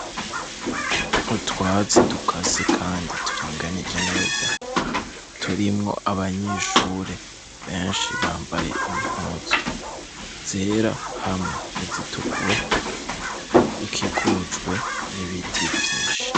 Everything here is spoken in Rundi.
Utwazi dukase, kandi turinganije neza turimwo abanyishure benshi bambaye impozo zera hamwe ni zitukura ikikujwe, n'ibiti vyinshi.